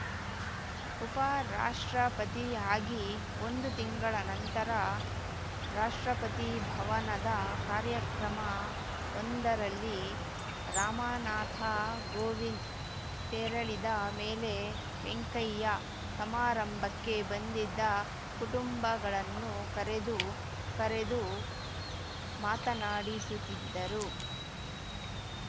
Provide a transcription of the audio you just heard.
ಉಪರಾಷ್ಟ್ರಪತಿ ಆಗಿ ಒಂದು ತಿಂಗಳ ನಂತರ ರಾಷ್ಟ್ರಪತಿ ಭವನದ ಕಾರ್ಯಕ್ರಮ ಒಂದರಲ್ಲಿ ರಾಮನಾಥ ಕೋವಿಂದ್‌ ತೆರಳಿದ ಮೇಲೆ ವೆಂಕಯ್ಯ ಸಮಾರಂಭಕ್ಕೆ ಬಂದಿದ್ದ ಕುಟುಂಬಗಳನ್ನು ಕರೆದು ಕರೆದು ಮಾತನಾಡಿಸುತ್ತಿದ್ದರು